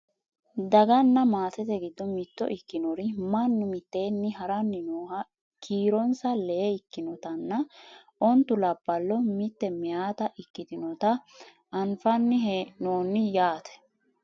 daganna maatete giddo mitto ikkinori mannu mitteenni haranni nooha kiironsa lee ikkinotanna ontu labballo mitte mayeeta ikkitinota anfanni hee'noonni yaate